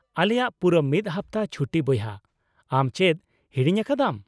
-ᱟᱞᱮᱭᱟ ᱯᱩᱨᱟᱹ ᱢᱤᱫ ᱦᱟᱯᱛᱟ ᱪᱷᱩᱴᱤ ᱵᱚᱭᱦᱟ; ᱟᱢ ᱪᱮᱫ ᱦᱤᱲᱤᱧ ᱟᱠᱟᱫᱟᱢ ?